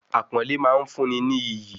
Àpọ́nlẹ́ máa ń fún ni ní iyì